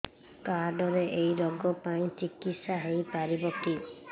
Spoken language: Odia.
କାର୍ଡ ରେ ଏଇ ରୋଗ ପାଇଁ ଚିକିତ୍ସା ହେଇପାରିବ କି